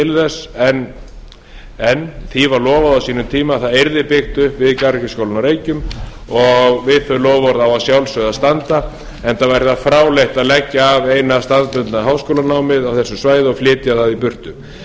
þess en því var lofað á sínum tíma að það yrði byggt upp við garðyrkjuskólann á reykjum og við þau loforð á að sjálfsögðu að standa enda væri það fráleitt að leggja af eina staðbundna háskólanámið á þessu svæði og flytja það í burtu